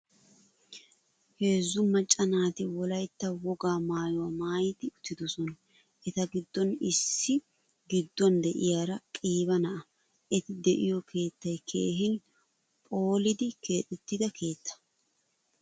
Heezzu macca naati wolaytta wogaa maayuwaa maayidi uttidosona. Eta giddon issi giduwan de'iyaara qiiba na'a. Eti de'iyo keettay keehin pholidi keexettida keettaa.